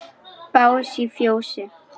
Bás í fjósi?